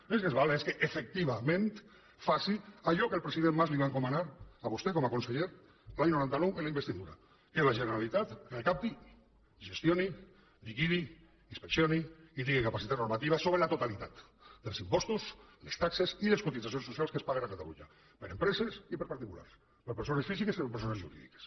l’únic que ens val és que efectivament faci allò que el president pujol li va encomanar a vostè com a conseller l’any noranta nou en la investidura que la generalitat recapti gestioni liquidi inspeccioni i tingui capacitat normativa sobre la totalitat dels impostos les taxes i les cotitzacions socials que es paguen a catalunya per a empreses i per a particulars per a persones físiques i per a persones jurídiques